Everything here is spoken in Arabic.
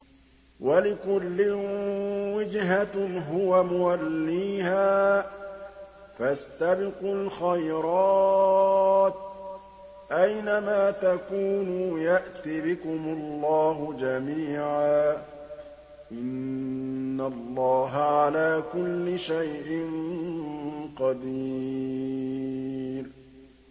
وَلِكُلٍّ وِجْهَةٌ هُوَ مُوَلِّيهَا ۖ فَاسْتَبِقُوا الْخَيْرَاتِ ۚ أَيْنَ مَا تَكُونُوا يَأْتِ بِكُمُ اللَّهُ جَمِيعًا ۚ إِنَّ اللَّهَ عَلَىٰ كُلِّ شَيْءٍ قَدِيرٌ